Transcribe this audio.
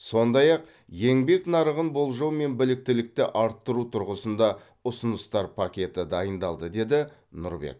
сондай ақ еңбек нарығын болжау мен біліктілікті арттыру тұрғысында ұсыныстар пакеті дайындалды деді с нұрбек